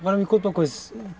Agora me conta uma coisa.